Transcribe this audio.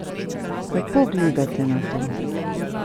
Kako gledate na to?